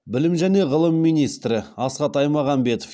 білім және ғылым министрі асхат аймағамбетов